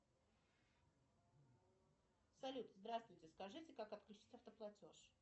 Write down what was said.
салют здравствуйте скажите как отключить автоплатеж